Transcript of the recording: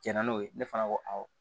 Jɛnna n'o ye ne fana ko awɔ